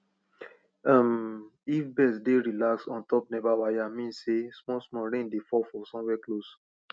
um if birds dey relax on top nepa wire mean sey small small rain dey fall somewhere close